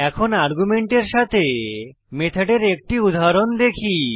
এখন আর্গুমেন্টের সাথে মেথডের একটি উদাহরণ দেখি